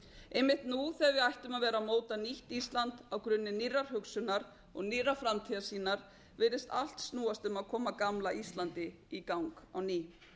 einmitt nú þegar við ættum að vera að móta nýtt ísland grunni nýrrar hugsunar og nýrrar framtíðarsýnar virðist allt snúast um að koma gamla íslandi í gang á ný